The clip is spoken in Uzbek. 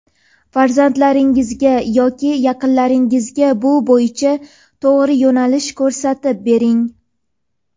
farzandlaringizga yoki yaqinlaringizga bu bo‘yicha to‘g‘ri yo‘nalish ko‘rsatib bering.